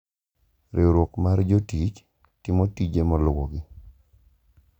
Riwruok mar jotich timo tije maluwogi: